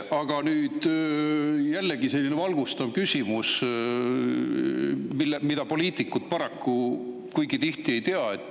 Aga mul on selline valgustav küsimus selle kohta, mida paraku poliitikud kuigi tihti ei tea.